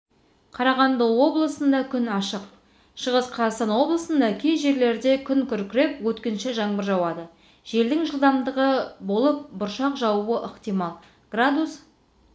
қарағанды облысында күн ашық шығыс қазақстан облысында кей жерлерде күн күркіреп өткінші жаңбыр жауады желдің жылдамдығы болып бұршақ жаууы ықтимал градус